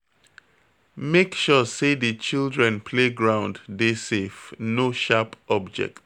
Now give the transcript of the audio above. Make sure sey di children play ground dey safe, no sharp object